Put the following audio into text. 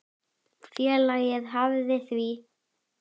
Félagið hafnaði því.